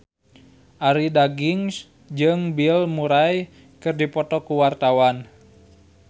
Arie Daginks jeung Bill Murray keur dipoto ku wartawan